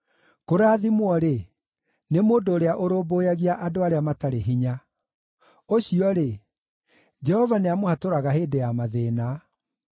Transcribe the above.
Kũrathimwo-rĩ, nĩ mũndũ ũrĩa ũrũmbũyagia andũ arĩa matarĩ hinya; ũcio-rĩ, Jehova nĩamũhatũraga hĩndĩ ya mathĩĩna.